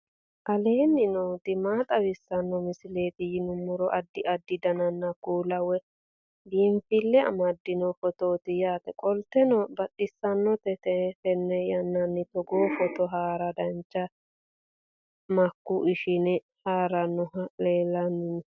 aleenni nooti maa xawisanno misileeti yinummoro addi addi dananna kuula woy biinsille amaddino footooti yaate qoltenno baxissannote xa tenne yannanni togoo footo haara danchate makeenu ishshine haaarannohu lellanni nooe